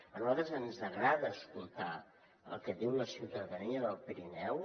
a nosaltres ens agrada escoltar el que diu la ciutadania del pirineu